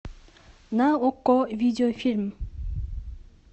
на окко видеофильм